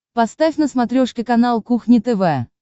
поставь на смотрешке канал кухня тв